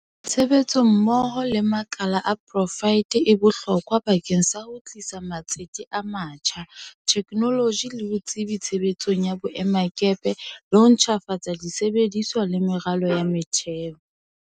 Tshebetso mmoho le makala a poraefete e bohlokwa bakeng sa ho tlisa matsete a matjha, the knoloji le botsebi tshebetsong ya boemakepe le ho ntjhafatsa di sebediswa le meralo ya motheo.